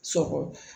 Sɔkɔ